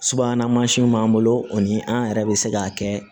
Subahana mansinw b'an bolo o ni an yɛrɛ bɛ se k'a kɛ